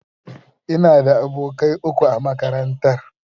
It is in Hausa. Ina da abokai uku a makarantar.